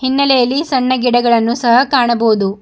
ಹಿನ್ನೆಲೆಯಲ್ಲಿ ಸಣ್ಣ ಗಿಡಗಳನ್ನು ಸಹ ಕಾಣಬಹುದು.